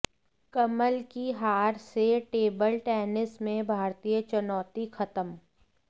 कमल की हार से टेबल टेनिस में भारतीय चुनौती खत्म